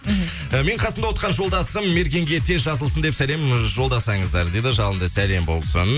мхм менің қасымда отырған жолдасым мергенге тез жазылсын деп салем жолдасаңыздар деді жалынды сәлем болсын